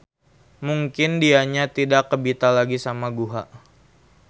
Mungkin dianya tidak kebita lagi sama guha.